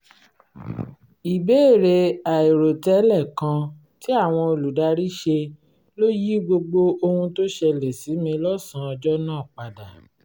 ìbéèrè àìròtẹ́lẹ̀ kan tí àwọn olùdarí ṣe ló yí gbogbo ohun tó ṣẹlẹ̀ sí mi lọ́sàn-án ọjọ́ náà padà